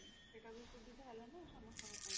ସେଟା ବି ସୁବିଧା ହେଲା ନା ସମସ୍ତଙ୍କ ପାଇଁ